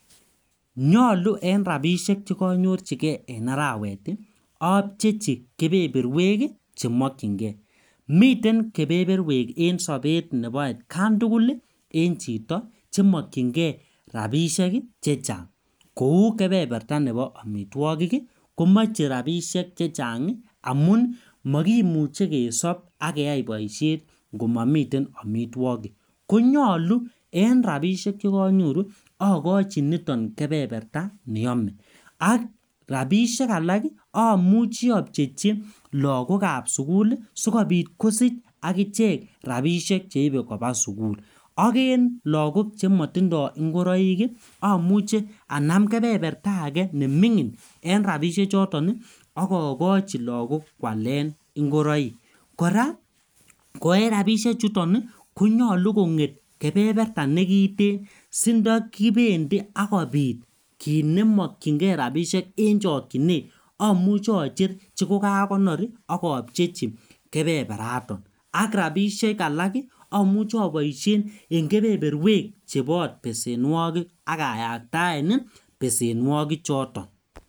Nyolu eng' rapishek chekanyorchigei eng' arawet apcheichi kepeperwek chemokchingei miten kepeperwek eng' sobet nebo atkantugul eng' chito chemokchingei rapishek chechang' kou kepeperta nebo omitwokik komachei rapishek chechang' amun makimuchei kesop akeyai boishet komomitei omitwokik konyolu eng' rapishek chekanyoru akachi nitoni kepeperta neyomei rapishek alak amuchei apcheichi lagokab sukul sikobit kosich akichek rapishek cheibei koba sukul ak en lagok chematindoi ngoroik amuche anam kepeperta age neming'in eng' rapishek choton akakochi lakok kwalen ngoroik kora ko eng' rapishek chuton konyolu kong'et kepeperta nekitin sindakibendi akobit kiit nemokchingei rapishek eng' chokchinet amuche acher chikokakonor akapcheichi kepeperata ak rapishek alak amuche aboishen eng' kepeperwek chebo besenwokik akayaktaen besenwokichoto.